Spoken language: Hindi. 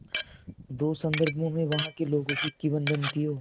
दो संदर्भों में वहाँ के लोगों की किंवदंतियों